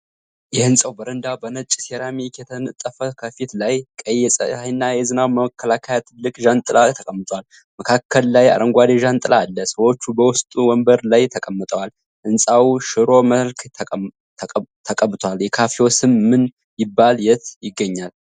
የህንፃዉ በረዳ በነጭ ሴራሚክ የተነጠፈ ከፊት ላይ ቀይ የፀሐይና የዝናብ መከላከያ ትልቅ ዣንጥላ ተቀምጧል። መካከል ላይ አረንጓዴ ዣንጥላ አለ። ሰዎቹ በዉስጡ ወንበር ላይ ተቀምጠዋል። ህንፄዉ ሽሮ መልክ ተቀብቷል። የካፌዉ ስም ማን ይባላል? የት ይገኛል?